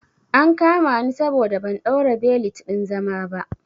An kama ni saboda ban ɗaura belet ɗin zama ba